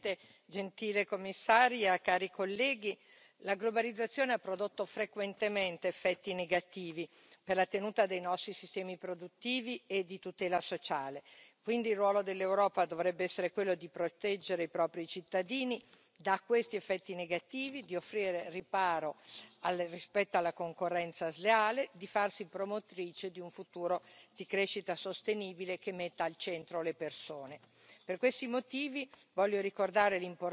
Signor Presidente, onorevoli colleghi, signora Commissaria, la globalizzazione ha prodotto frequentemente effetti negativi per la tenuta dei nostri sistemi produttivi e di tutela sociale, quindi il ruolo dell'Europa dovrebbe essere quello di proteggere i propri cittadini da questi effetti negativi, di offrire riparo rispetto alla concorrenza sleale, di farsi promotrice di un futuro di crescita sostenibile che metta al centro le persone.